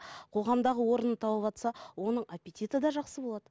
қоғамдағы орнын тауыватса оның аппетиті де жақсы болады